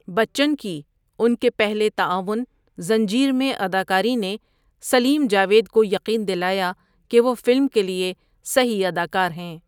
بچن کی ان کے پہلے تعاون، زنجیر میں اداکاری نے سلیم جاوید کو یقین دلایا کہ وہ فلم کے لیے صحیح اداکار ہیں۔